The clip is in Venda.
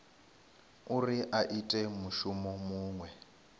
uri a ite mushumo muṅwe